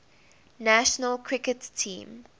national cricket team